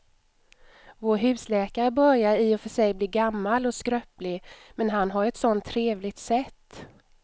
Vår husläkare börjar i och för sig bli gammal och skröplig, men han har ju ett sådant trevligt sätt!